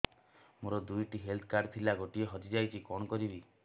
ମୋର ଦୁଇଟି health card ଥିଲା ଗୋଟିଏ ହଜି ଯାଇଛି କଣ କରିବି